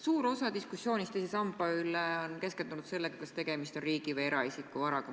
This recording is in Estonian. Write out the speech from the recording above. Suur osa diskussioonist teise samba üle on keskendunud sellele, kas tegemist on riigi või eraisiku varaga.